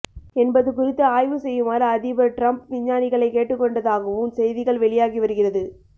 என்பது குறித்து ஆய்வு செய்யுமாறு அதிபர் டிரம்ப் விஞ்ஞானிகளை கேட்டுக்கொண்டதாகவும் செய்திகள் வெளியாகி வருகிறது